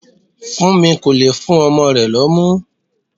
Funmi kò le fún ọmọ rẹ̀ lómu.